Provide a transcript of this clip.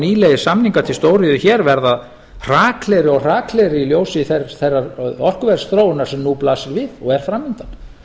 nýlegir samningar til stóriðju hér verða hraklegri og hraklegri í ljósi þeirrar orkuverðsþróunar sem nú blasir við og er framundan